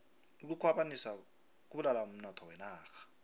ukukhwabanisa kubulala umnotho wenarha